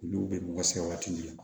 Olu bɛ mɔgɔ sɛgɛn waati min na